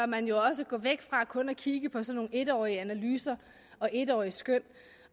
man jo også gå væk fra kun at kigge på sådan en årige analyser og en årige skøn